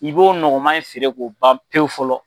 I b'o nɔgɔma in feere k'o ban pewu fɔlɔ.